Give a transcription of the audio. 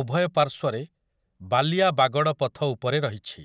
ଉଭୟ ପାର୍ଶ୍ୱରେ ବାଲିଆ ବାଗଡ଼ ପଥ ଉପରେ ରହିଛି ।